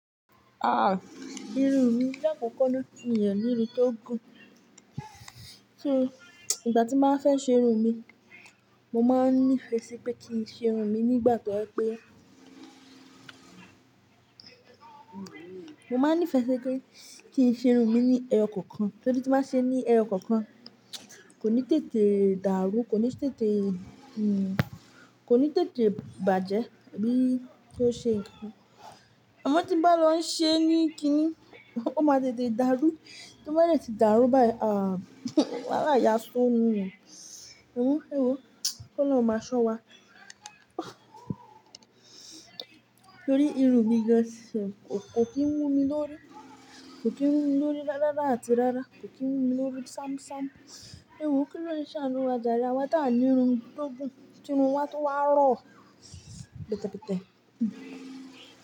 Ah! Irun mi la kòkó na mi o ní irun tó gùn. So, ìgbà tí màá fẹ́ ṣe irun mi, mo máa nífẹ̀ẹ́ sí pé kí n ṣe irun mi nígbà tó je pé Mo máa nífẹ̀ẹ́ sí pé kí n ṣe irun mi ní ẹyọ kankan, torí tí màá ṣe ní ẹyọ kankan, kò ní tètè dàrú, kò ní tètè, hm, kò ní tètè bàjẹ́ bí o ṣe nǹkan. Amọ tí bá lọ ṣe ní kiní, ó máa tètè dàrú. Tí ó bá dẹ̀tì dàrú báyìí, ah! Wàhálà yá ṣún ni. Òun, ewo, ki oloun máa ṣọ́ wa. Torí irun mi gan ṣe, kò kí ń yún mi lórí. Kò kí ń yún mi lórí ráaráa àti rárá. Kò kí ń yún mi lórí ṣámṣám. Ewo kí oloun sàánú wa járe? Awa tà á ní irun tó gùn ti irún wa tun wá rọ̀ pẹtẹpẹtẹ. Hm.